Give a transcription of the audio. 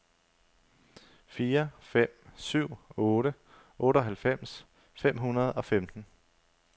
fire fem syv otte otteoghalvfems fem hundrede og femten